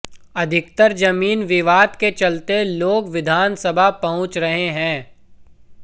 अधिकतर जमीन विवाद के चलते लोग विधानसभा पहुच रहे हैं